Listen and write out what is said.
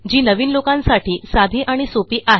जी नवीन लोकांसाठी साधी आणि सोपी आहे